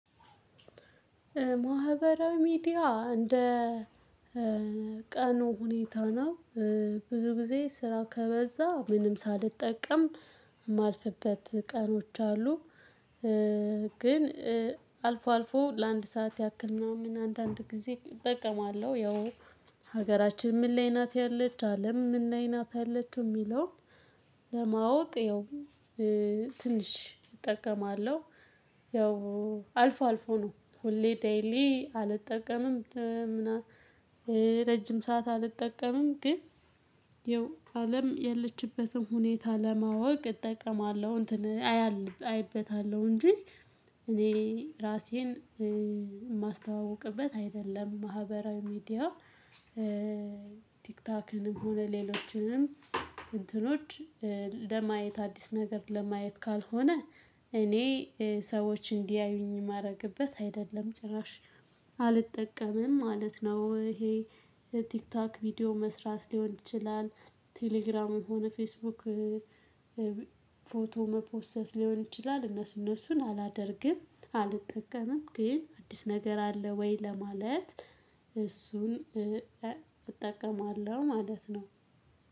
ማህበራዊ ሚዲያ እንደ ቀኑ ሁኔታ ነው። ብዙ ጊዜ ስራ ከበዛ ምንም ሳልጠቀም የማልፍበት ቀኖች አሉ። ግን አልፎ አልፎ ለአንድ ሰዓት ያክል ምናምን አንዳንድ ጊዜ እጠቀማለሁ። ያው ሀገራችን ምን ላይ ናት ያለች አለም ምን ላይ ናት ያለችው የሚለውን። ለማወቅ ያው ትንሽ እጠቀማለሁ። ያው አልፎ አልፎ ነው ሁሌ ዴይሊ አልጠቀምም። ረጅም ሰዓት አልጠቀምም ግን ያው አለም ያለችበትን ሁኔታ ለማወቅ እጠቀማለሁ። እንትን አይበታለሁ እንጂ እኔ ራሴን የማስተዋውቅበት አይደለም። ማህበራዊ ሚዲያ። ቲክታክንም ሆነ ሌሎችንም እንትኖች ለማየት አዲስ ነገር ለማየት ካልሆነ እኔ ሰዎች እንዲያዩኝ የማደርግበት አይደለም ጭራሽ አልጠቀምም ማለት ነው። ይሄ የቲክታክ ቪዲዮ መስራት ሊሆን ይችላል። ቴሌግራምም የሆነ ፌስቡክ ፎቶ መፖሰት ሊሆን ይችላል። እነሱ እነሱን አላደርግም አልጠቀምም ግን አዲስ ነገር አለ ወይ ለማለት እሱን እጠቀማለሁ ማለት ነው።